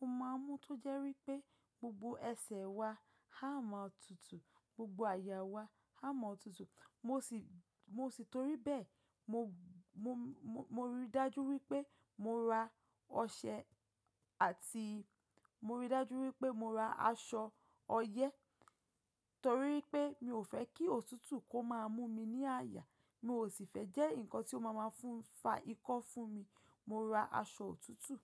ó ma n mú tó jẹ́ wípé gbogbo ẹsẹ̀ wa há máa tútù, gbogbo àyà wa há máa òtútù. Mo sì, mo sì torí bẹ́ẹ̀ mo, mo rí i dájú wípé mo ra ọṣẹ àti mo rí i dájú wípé mo ra aṣọ ọyẹ́. Torí pé mi ò fẹ́ kí òtútù kó máa mú mi ní àyà, mi ò sì fẹ́ jẹ́ nǹkan tí ó máa máa fún fa ikọ́ fún mi. Mo ra aṣọ òtútù.